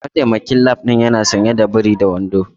Mataimakin lab din yana sanye da biri da wando.